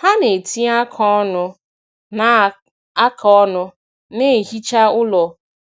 Ha na-etinye aka ọnụ na aka ọnụ na ihicha ụlọ